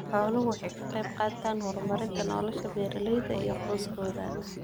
Xooluhu waxay ka qaybqaataan horumarinta nolosha beeralayda iyo qoysaskooda.